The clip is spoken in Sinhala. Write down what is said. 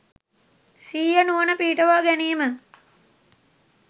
සිහිය නුවණ පිහිටුවා ගැනීම.